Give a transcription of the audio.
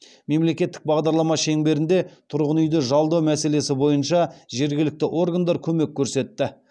мемлекеттік бағдарлама шеңберінде тұрғын үйді жалдау мәселесі бойынша жергілікті органдар көмек көрсетті